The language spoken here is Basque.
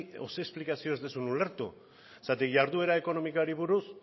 edo zein esplikazio ez duzun ulertu zergatik jarduera ekonomikoari buruz